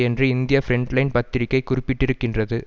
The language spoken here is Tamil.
என்று இந்திய பிரண்ட் லைன் பத்திரிகை குறிப்பிட்டிருக்கின்றது